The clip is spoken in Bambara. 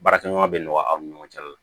Baarakɛɲɔgɔn bɛ nɔgɔya aw ni ɲɔgɔn cɛ la